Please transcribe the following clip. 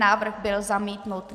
Návrh byl zamítnut.